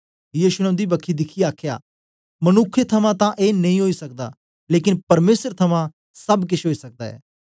यीशु ने उंदी बक्खी दिखियै आखया मनुखे थमां तां ए नेई ओई सकदा लेकन परमेसर थमां सब केश ओई सकदा ऐ